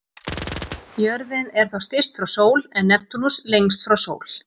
Jörðin er þá styst frá sól en Neptúnus lengst frá sól.